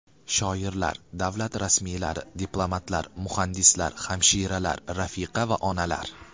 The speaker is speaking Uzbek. Shoirlar, davlat rasmiylari, diplomatlar, muhandislar, hamshiralar, rafiqa va onalar.